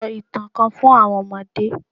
Sọ ìtàn kan fun àwọn ọmọdé